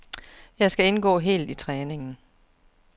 Jeg skal indgå helt i træningen.